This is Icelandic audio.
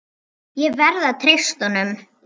Ég verð að treysta honum.